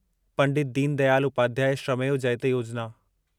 Pandit Deen Dayal Upadhyay Shramev Jayate Yojana